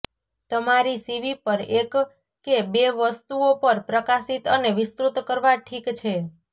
તમારી સીવી પર એક કે બે વસ્તુઓ પર પ્રકાશિત અને વિસ્તૃત કરવા ઠીક છે